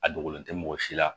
A dogolen tɛ mɔgɔ si la